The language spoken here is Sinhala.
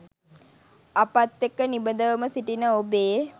අපත් එක්ක නිබඳවම සිටින ඔබේ